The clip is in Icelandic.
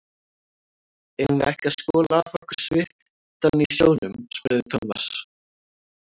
Eigum við ekki að skola af okkur svitann í sjónum? spurði Thomas.